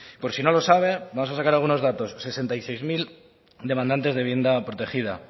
por si no lo sabe vamos a sacar algunos datos sesenta y seis mil demandantes de vivienda protegida